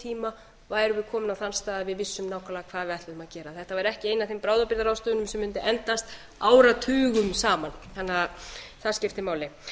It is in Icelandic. tíma værum við komin á þann stað að við vissum nákvæmlega hvað við ætluðum að gera þetta væri ekki ein af þeim bráðabirgðaráðstöfunum sem mundi endast áratugum saman þannig að það skiptir máli